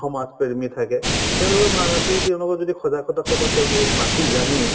সমাজপ্ৰমী থাকে তেওঁলোকক মা মাতি তেওঁলোকক যদি সজাগতা সভাত তেওঁলোকক মাতি আনি